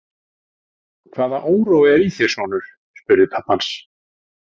Hvaða órói er í þér, sonur? spurði pabbi hans.